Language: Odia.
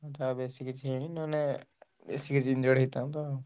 ଯାହା ହଉ ବେଶୀ କିଛି ହେଇନି ନହେଲେ ବେଶୀ injured ହେଇଥାନ୍ତା ଆଉ।